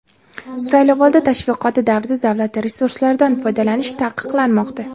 saylovoldi tashviqoti davrida davlat resurslaridan foydalanish taqiqlanmoqda.